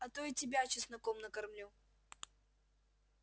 а то и тебя чесноком накормлю